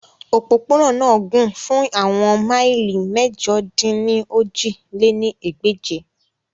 Opopona naa na gun fun awọn maili Mẹ̀jọ-dín-ní-ojì lé ní ẹgbẹ́je.